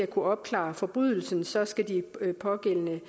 kunne opklare forbrydelser skal de pågældende